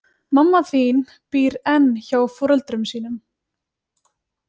Mamma þín býr enn hjá foreldrum sínum.